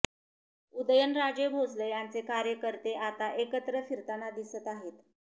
उदयनराजे भोसले यांचे कार्यकर्ते आता एकत्र फिरताना दिसत आहेत